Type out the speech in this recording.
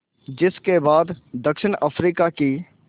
जिस के बाद दक्षिण अफ्रीका की